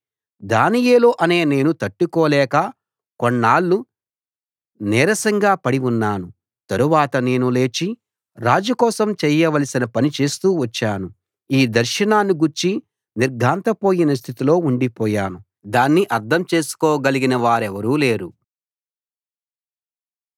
దానియేలు అనే నేను తట్టుకోలేక కొన్నాళ్లు నీరసంగా పడి ఉన్నాను తరువాత నేను లేచి రాజు కోసం చేయవలసిన పని చేస్తూ వచ్చాను ఈ దర్శనాన్ని గూర్చి నిర్ఘాంతపోయిన స్థితిలో ఉండిపోయాను దాన్ని అర్థం చేసుకోగలిగిన వారెవరూ లేరు